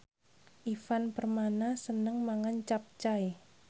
Ivan Permana seneng mangan capcay